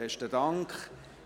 Besten Dank.